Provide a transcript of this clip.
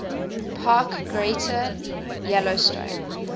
park greater yellowstone